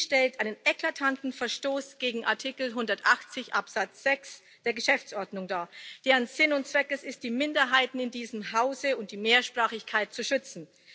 Das stellt einen eklatanten Verstoß gegen Artikel 180 Absatz 6 der Geschäftsordnung dar, deren Sinn und Zweck es ist, die Minderheiten in diesem Hause und die Mehrsprachigkeit zu schützen.